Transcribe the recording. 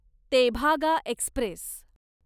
Tebhaga Express